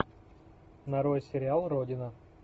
нарой сериал родина